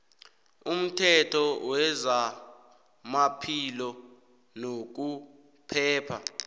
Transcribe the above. umthetho wezamaphilo nokuphepha